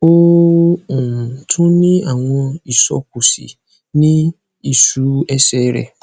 ó um tún ń ní àwọn isókúsí ní ìṣú ẹsẹ rẹ